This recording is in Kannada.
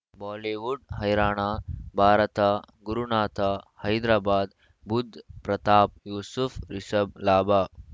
ಬಾಲಿವುಡ್ ಹೈರಾಣ ಭಾರತ ಗುರುನಾಥ ಹೈದರಾಬಾದ್ ಬುಧ್ ಪ್ರತಾಪ್ ಯೂಸುಫ್ ರಿಷಬ್ ಲಾಭ